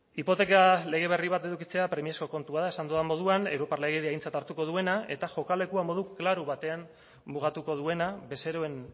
hipoteka lege berri bat edukitzea premiazko kontua da esan dudan moduan europar legedia aintzat hartuko duena eta jokalekua modu klaru batean mugatuko duena bezeroen